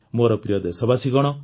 ମୋର ପ୍ରିୟ ଦେଶବାସୀଗଣ